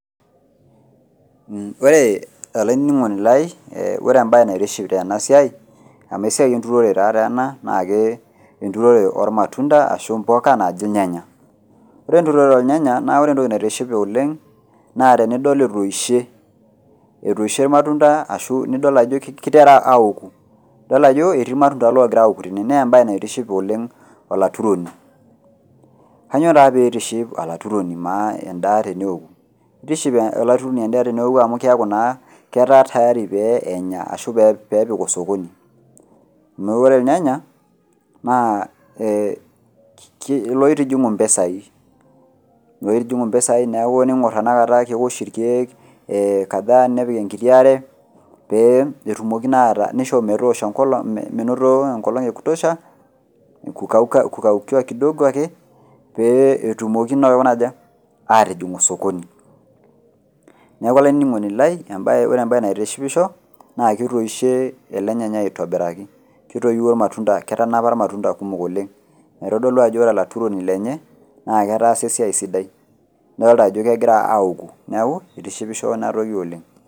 Ore olaininingoni lai ore embae naitiship tenasia amu enbae enturore ena na enturore ormatunda ashu impuka na kajo irnyanya ore enturoto ornyanya ore entoki naitishipisho oleng na tenidol etoishe irmatunda ashu idol ajo iterua aoku idol ajo etii irmatunda ogira aoku tene na embae naitishipisho olaturoni kanyio peitipiship olaturoni enda teneaoku? Kitiship olaremoni endaa amu keaku naa keta tayari penya ashu pepik osokoni neaku ore irnyanya na e loutijingu mpisai neaku tiningor tanakata keosh irkiek aare petumoki nisho metoosho enkolong minoto enkolong ekutosha kukaukiwa kidogo ake petumoki aikuna aja ,atijing osokoni neaku olaininingoni lai ore embae naitishipisho na ketoishe ele nyanyai aitobiraki ketoiwuo irmatunda kumok oleng neaku kitadolu ajo ore olaturoni netaasa esiaia sidai kitadolu ajo kegira aouku neaku kitishipisho enatoki Oleng.